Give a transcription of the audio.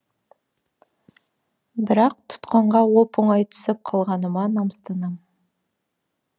бірақ тұтқынға оп оңай түсіп қалғаныма намыстанам